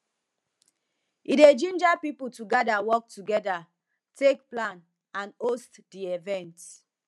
e dey ginger pipo to gather work togeda take plan and host di event